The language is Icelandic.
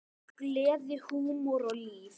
Gleði, húmor og líf.